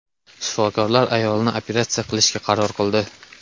Shifokorlar ayolni operatsiya qilishga qaror qildi.